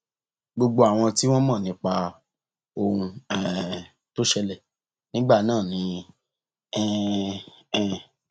gbogbo àwọn tí wọn mọ nípa ohun um tó ṣẹlẹ nígbà náà ni um